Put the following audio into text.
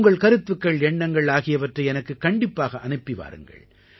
உங்கள் கருத்துக்கள் எண்ணங்கள் ஆகியவற்றை எனக்குக் கண்டிப்பாக அனுப்பி வாருங்கள்